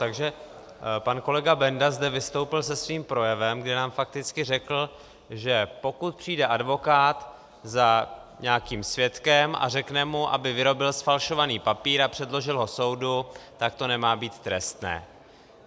Takže pan kolega Benda zde vystoupil se svým projevem, kdy nám fakticky řekl, že pokud přijde advokát za nějakým svědkem a řekne mu, aby vyrobil zfalšovaný papír a předložil ho soudu, tak to nemá být trestné.